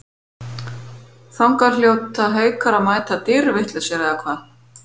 Þangað hljóta Haukar að mæta dýrvitlausir eða hvað?